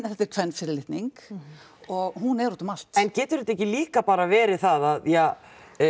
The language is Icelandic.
þetta er kvenfyrirlitning og hún er úti um allt en getur þetta ekki líka bara verið það að ja